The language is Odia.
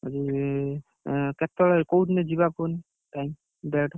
କେତେବେଳେ କୋଉଦିନ ଯିବା କୁହନି date ?